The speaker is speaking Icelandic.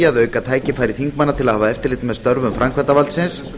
að auka tækifæri þingmanna til að hafa eftirlit með störfum framkvæmdarvaldsins